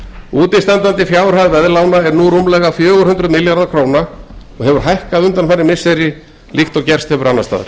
útistandandi fjárhæð veðlána er nú rúmlega fjögur hundruð milljarðar króna og hefur hækkað undanfarin missiri líkt og gerst hefur annars staðar